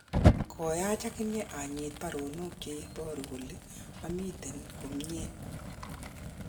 Koyach akany anyit baronok che ibaru kole amiten komnyen